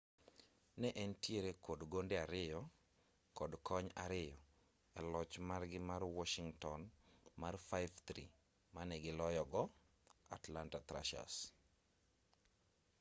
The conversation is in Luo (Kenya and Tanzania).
ne entiere kod gonde 2 kod kony 2 e loch margi ma washington mar 5-3 mane giloyo go atlanta thrashers